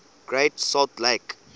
great salt lake